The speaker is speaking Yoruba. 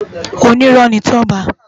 Ónirò ni Toba